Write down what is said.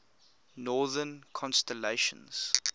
northern constellations